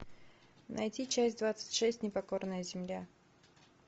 найти часть двадцать шесть непокорная земля